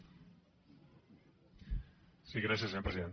sí gràcies senyor president